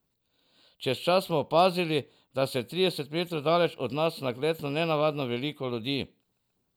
Čez čas smo opazili, da se je trideset metrov daleč od nas nagnetlo nenavadno veliko ljudi.